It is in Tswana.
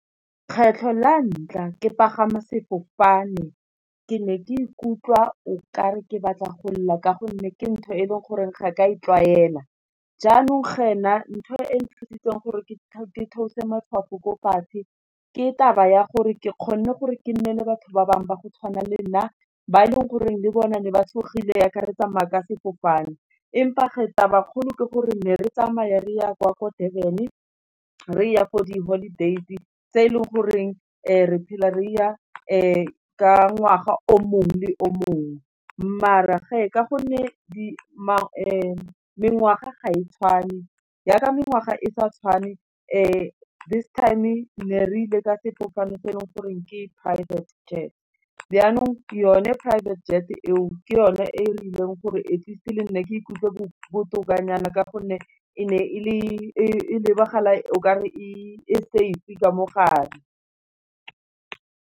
Kgetlho la ntlha ke pagama sefofane ke ne ke ikutlwa o kare ke batla go lela, ka gonne ke ntho e leng gore ga ka e tlwaela. Jaanong ge na ntho e nthusitse gore ke theose matshwafo ko fatshe ke taba ya gore ke kgonne gore ke nne le batho ba bangwe ba go tshwana lenna, ba e leng gore le bona le ba tshogile jaaka re tsamaya ka sefofane, empa taba kgolo ke gore ne re tsamaya re ya kwa, kwa Durban re ya for di-holidays tse e leng goreng re phela re ya ka ngwaga o mongwe le o mongwe, mara geng ka gonne mengwaga ga e tshwane, jaaka mengwaga e sa tshwane, this time ne re ile ka sefofane se e leng goreng ke private jet, jaanong yone private jet eo, ke yone e e rileng gore at least le nna ke ikutlwe botokanyana, ka gonne e ne e lebagala okare e safe-e ka mogare.